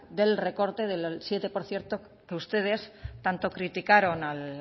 del recorte del siete por ciento que ustedes tanto criticaron al